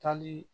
Taali